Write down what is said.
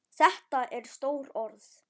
Þetta eru stór orð.